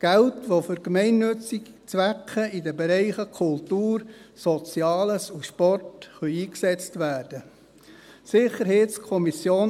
Geld, das für gemeinnützige Zwecke in den Bereichen Kultur, Soziales und Sport eingesetzt werden kann.